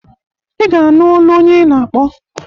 Ị ga-anụ olu onye ị na-akpọ.